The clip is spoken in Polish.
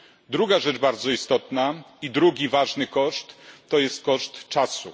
Druga rzecz bardzo istotna i drugi ważny koszt, to jest koszt czasu.